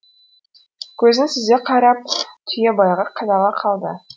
көзін сүзе қарап түйебайға қадала қалды